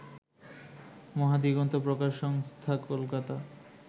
মহাদিগন্ত প্রকাশ সংস্হা কলকাতা